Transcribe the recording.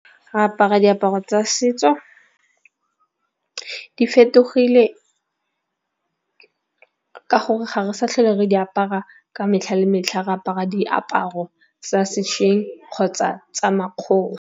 Re apara diaparo tsa setso di fetogile ka gore ga re sa tlhole re di apara ka metlha le metlha. Re apara diaparo tsa sešweng kgotsa tsa .